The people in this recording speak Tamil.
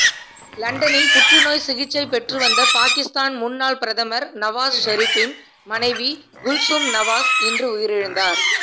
லண்டனில் புற்றுநோய் சிகிச்சை பெற்றுவந்த பாகிஸ்தான் முன்னாள் பிரதமர் நவாஸ் ஷெரீப்பின் மனைவி குல்சூம் நவாஸ் இன்று உயிரிழந்தார்